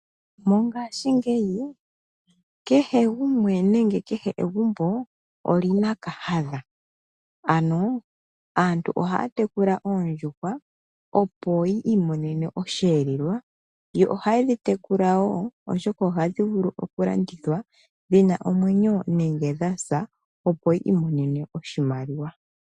Mongashingeyi kehe gumwe nenge kehe egumbo olina kahandha ano aantu ohaa tekula oondjuhwa opo yi imonene osho elelwa, yo ohaye ndhi tekula wo oshoka ohandhi vulu okulandithwa dhina omwenyo nenge dhasa opo yi imonene oshimaliwa.